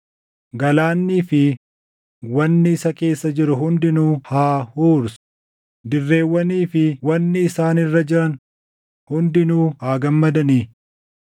Galaannii fi wanni isa keessa jiru hundinuu haa huursu; dirreewwanii fi wanni isaan irra jiran hundinuu haa gammadani!